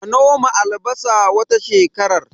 A noma albasa wata shekarar